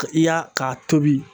I y'a, k'a tobi